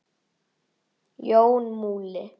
Jón Múli